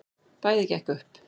Bæði gekk upp.